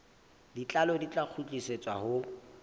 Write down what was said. botlalo di tla kgutlisetswa ho